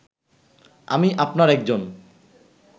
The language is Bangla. আমি আপনার একজন